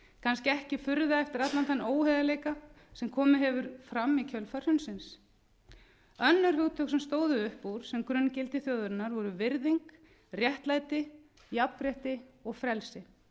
kannski ekki furða eftir allan þann óheiðarleika sem komið hefur fram í kjölfar hrunsins önnur hugtök sem stóðu upp úr sem grunngildi þjóðarinnar voru virðing jafnrétti réttlæti og frelsi